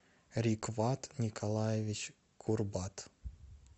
рикват николаевич курбат